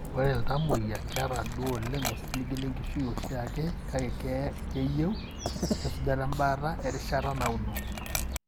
Ore iltamuoyia keeta duo oleng osiligi lenkishui eoshiake kake keyieu esujata embaata erishata nauno.